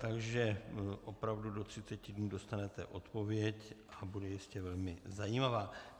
Takže opravdu do třiceti dnů dostanete odpověď a bude jistě velmi zajímavá.